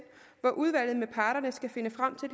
hvor udvalget med parterne skal finde frem til